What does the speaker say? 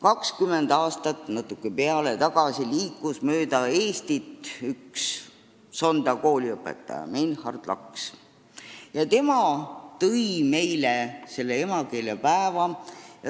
20 aastat või natuke rohkem aega tagasi liikus mööda Eestit Sonda kooliõpetaja Meinhard Laks, tänu kellele meil on emakeelepäev.